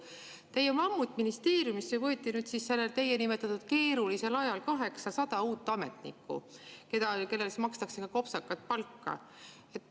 " Teie mammutministeeriumisse võeti nüüd sellel teie nimetatud keerulisel ajal 800 uut ametnikku, kellele makstakse ka kopsakat palka.